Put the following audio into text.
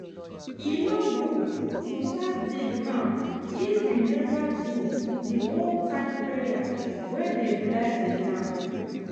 e no good to start dig ground if you never do the old-time prayer wey dey bless the land.